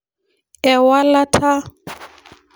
Ewalata.